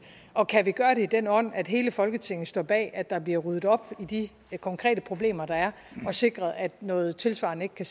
og kan vi gøre det i den ånd at hele folketinget står bag at der bliver ryddet op i de konkrete problemer der er og sikret at noget tilsvarende ikke kan